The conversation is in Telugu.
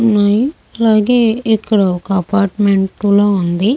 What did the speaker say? ఉన్నాయి. అలాగే ఇక్కడ ఒక అపార్ట్మెంట్ కూడా ఉంది.